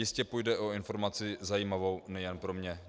Jistě půjde o informaci zajímavou nejen pro mě.